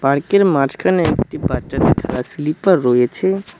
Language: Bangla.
পার্ক -এর মাঝখানে একটি বাচ্চাদের খেলার স্লিপার রয়েছে।